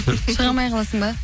шыға алмай қаласың ба